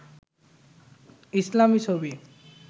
ইসলামী ছবি